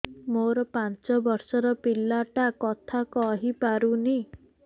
ମୋର ପାଞ୍ଚ ଵର୍ଷ ର ପିଲା ଟା କଥା କହି ପାରୁନି